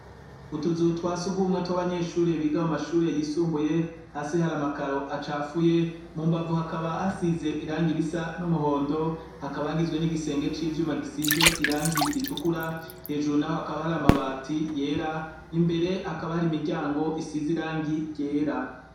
Utuzu twa sugumwe tw’abanyeshure biga mu mashure yisumbuye hasi hari amakaro acafuye mu mbavu hakaba hasize irangi risa n’umuhondo hakaba hagizwe n’igisenge c’ivyuma gisize irangi ritukura hejuru naho hakaba hari amabati yera imbere hakaba hari imiryango isize irangi ryera.